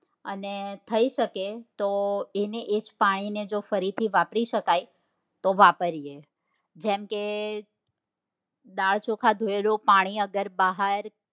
અને થઇ શકે તો એનું એજ પાણી ને ફરીથી વાપરી શકાય તો વાપરીએ જેમ કે દાળ ચોખા ધોયેલું પાણી અગર બહાર